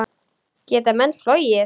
Geta menn flogið?